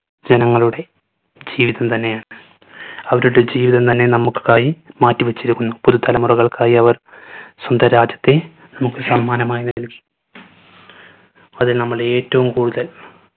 ജനങ്ങളുടെ ജീവിതം തന്നെയാ അവരുടെ ജീവിതം തന്നെ നമ്മുക്കായി മാറ്റിവെച്ചിരിക്കുന്നു. വരും തലമുറകൾക്കായി അവർ സ്വന്തം രാജ്യത്തെ നമ്മുക്ക് സമ്മാനമായി നൽകി. അതിൽ നമ്മൾ ഏറ്റവും കൂടുതൽ